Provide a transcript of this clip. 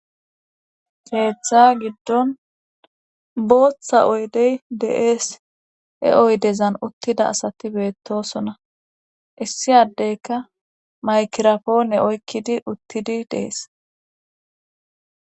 keeththa giddon booththa oydey deees e oydezan uttida asati beettosona issi addeyka maykirafoone oykkidi uttidi dees